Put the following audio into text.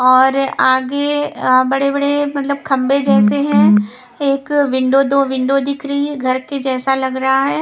और आगे अ बड़े बड़े मतलब खंबे जैसे हैं एक विंडो दो विंडो दिख रही है घर के जैसा लग रहा है।